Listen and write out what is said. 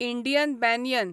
Indian banyan